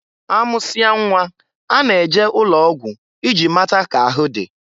A mụsịa nnwa, a na-eje ụlọ ọgwụ iji mata k'ahụ dị.